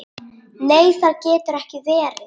Nei, það getur ekki verið.